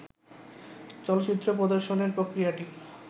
চলচ্চিত্র প্রদর্শনের প্রক্রিয়াটি